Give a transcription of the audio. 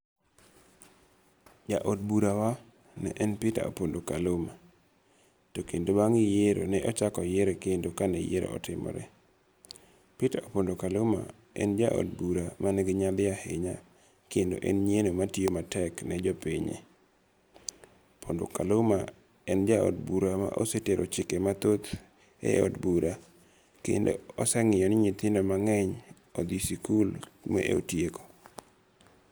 Ja od bura wa ne en Peter Opondo Kaluma to kendo bang' yiero ne ochak oyiere kendo ka ne yiero otimore. Peter Opondo Kaluma en ja od bura mani gi nyadhi ahinya kendo en nyieno ma tiyo matek ne jopinyne. Opondo Kaluma en ja od bura ma osetero chike mathoth e od bura kendo osengiyo ni ntithindo mang'eny odhi sikul ma otieko.